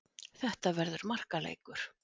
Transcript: Þetta verður markaleikur.